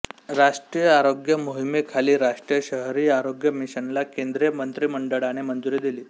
राष्ट्रीय आरोग्य मोहिमेखाली राष्ट्रीय शहरी आरोग्य मिशनला केंद्रीय मंत्रिमंडळाने मंजूरी दिली